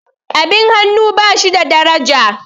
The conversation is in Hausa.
abin hannu ba shi da daraja